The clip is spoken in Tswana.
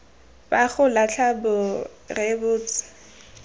ba go latlha bo rebotswe